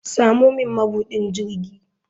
Samo min mabudin jirgi.